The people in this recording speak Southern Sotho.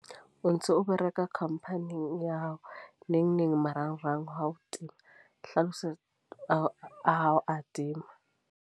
O ntso o bereka company-ing ya hao. Nengneng marangrang a hao a tima. Hlalosa, a hao a tima.